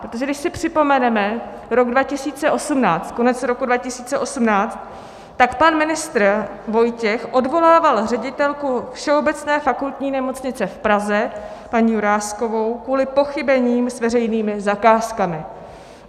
Protože když si připomeneme rok 2018, konec roku 2018, tak pan ministr Vojtěch odvolával ředitelku Všeobecné fakultní nemocnice v Praze paní Juráskovou kvůli pochybením s veřejnými zakázkami.